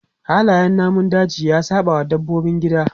Halayen namun daji ya saɓawa dabbobin gida.